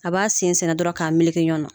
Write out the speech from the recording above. A b'a sen sɛɛnɛ dɔrɔn k'a meleke ɲɔgɔn na